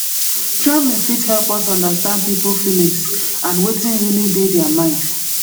traveling fit help us understand pipo feelings and wetin really dey their mind